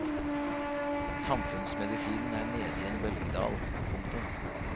Samfunnsmedisinen er nede i en bølgedal. punktum